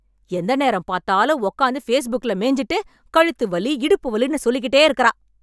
எந்த நேரம் பாத்தாலும், உக்காந்து ஃபேஸ்புக்ல மேய்ஞ்சுட்டு, கழுத்து வலி, இடுப்பு வலின்னு சொல்லிட்டே இருக்கறா...